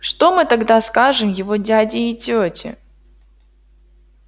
что мы тогда скажем его дяде и тёте